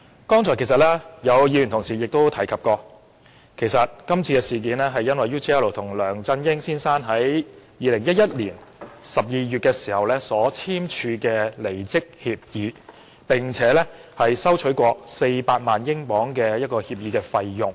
剛才有議員同事提及，今次事件是因為梁振英先生與 UGL 在2011年12月簽訂離職協議，收取了400萬英鎊的協議費用。